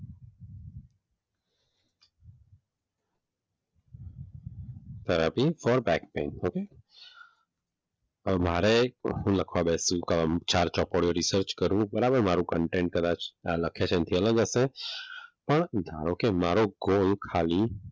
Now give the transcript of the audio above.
Therapy or back pain okay? હવે મારે હું લખવા બેસો ચાર ચોપડીઓ લખવા બેસો રિચાર્જ કરવું બરાબર મારું કન્ટેન્ટ કદાચ લખે છે એને લગતે પણ ધારો કે મારો ગોલ ખાલી,